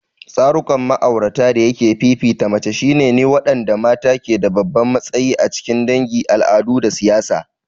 Tsarukan ma'aurata dayake fifita mace shine ne waɗanda mata ke da babban matsayi a cikin dangi, al'adu, da siyasa.